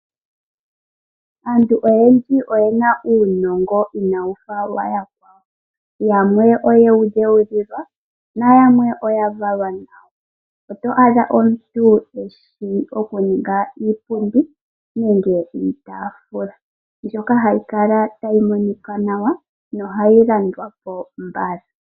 Aantu oyendji oye na uunongo iina wu fa wayakwawo, yamwe oyewu dheulilwa nayamwe oya valwa nawo, oto adha omuntu eshi okuninga iipundi nenge iitaafula mbyoka hayi kala tayi monika nawa nohayi landwa po mbala.